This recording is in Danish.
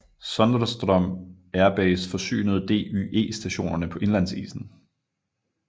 Sondrestrom Air Base forsynede DYE stationerne på indlandsisen